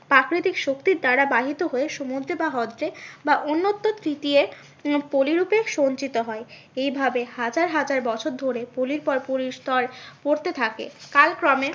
প্রাকৃতিক শক্তির দ্বারা বাহিত হয়ে সমুদ্রের বা হ্রদ এ বা অন্তত উম পলি রূপে সঞ্চিত হয়। এইভাবে হাজার হাজার বছর ধরে পলির পর পলির স্তর পরতে থাকে। কালক্রমে